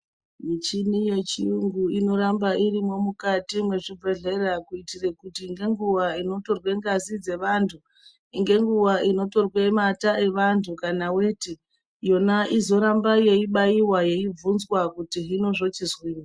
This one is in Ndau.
Michini yechiyungu inoramba irimwo mukati mwezvibhedhleya. Kuitire kuti ngenguva inotorwe ngazi dzevantu ngenguva inotorwe nata evantu kana veti. Yona izoramba yeibaiva yeibvunzwa kuti hino zvochinzii.